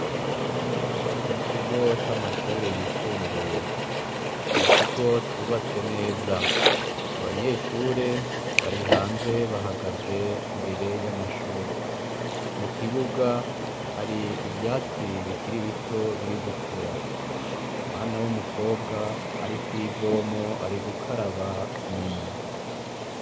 Mukigo c'amashure yisumbuye ni ikigo cubatse neza abanyeshure bari hanze bahagaze imbere yamashure mukibuga hari ivyatsi bikiri bito biri gukura, umwana umukobwa ari kwibomba ari gukaraba iminwe.